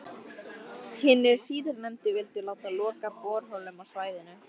Hinir síðarnefndu vildu láta loka borholum á svæðinu.